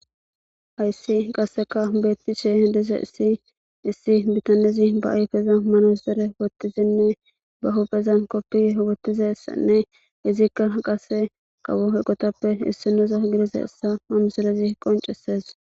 hayssi qasseka beettishe dize issi issi bitanezi ba ayfeza manazere wottizinne ba huphezan koppi hogottiza ssanne izikka qase kawo he qotappe issinoza giriza essa manuzerezi qonceses